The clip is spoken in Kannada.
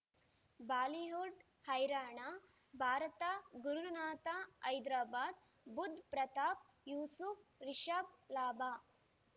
ಬಾಲಿವುಡ್ ಹೈರಾಣ ಭಾರತ ಗುರುನಾಥ ಹೈದರಾಬಾದ್ ಬುಧ್ ಪ್ರತಾಪ್ ಯೂಸುಫ್ ರಿಷಬ್ ಲಾಭ